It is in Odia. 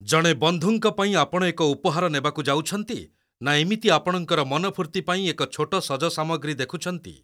ଜଣେ ବନ୍ଧୁଙ୍କ ପାଇଁ ଆପଣ ଏକ ଉପହାର ନେବାକୁ ଯାଉଛନ୍ତି, ନା ଏମିତି ଆପଣଙ୍କର ମନ ଫୂର୍ତ୍ତି ପାଇଁ ଏକ ଛୋଟ ସଜ ସାମଗ୍ରୀ ଦେଖୁଛନ୍ତି?